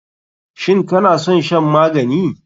Shin kanason shan magani?